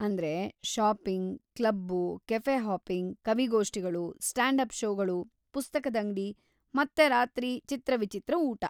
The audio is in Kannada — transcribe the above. ಅಂದ್ರೆ, ಷಾಪಿಂಗ್‌, ಕ್ಲಬ್ಬು, ಕೆಫೆ ಹಾಪಿಂಗ್, ಕವಿಗೋಷ್ಠಿಗಳು, ಸ್ಟಾಂಡ್‌-ಅಪ್‌ ಷೋಗಳು, ಪುಸ್ತಕದಂಗಡಿ, ಮತ್ತೆ ರಾತ್ರಿ ಚಿತ್ರವಿಚಿತ್ರ ಊಟ.